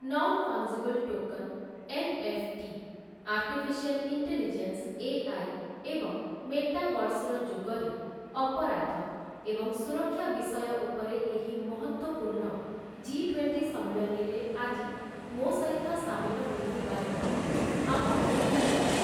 Non fungible token NFT, artificial intelligence AI. ଏବଂ ମେଟାଭର୍ସର ଯୁଗରେ ଅପରାଧ ଏବଂ ସୁରକ୍ଷା ବିଷୟ ଉପରେ ଏହି ମହତ୍ତ୍ୱପୂର୍ଣ୍ଣ ଜି ଟ୍ୱେଣ୍ଟି ସମ୍ମିଳନୀରେ, ଆଜି ମୋ' ସହିତ ସାମିଲ ହୋଇଥିବା ଯୋଗୁଁ ଆପଣଙ୍କୁ ଧନ୍ୟବାଦ ।